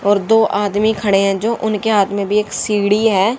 और दो आदमी खड़े हैं जो उनके हाथ में भीं एक सीढ़ी हैं।